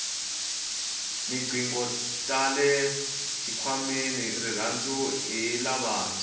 tinqingho tale xikhwameni tirhandza hi lavantshwa